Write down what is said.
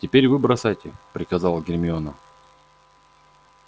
теперь вы бросайте приказала гермиона